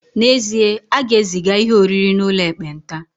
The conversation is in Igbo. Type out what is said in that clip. N'ezie, a ga-eziga ihe oriri n'ụlọ ekpenta